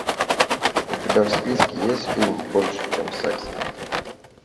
у тебя в списке есть фильм больше чем секс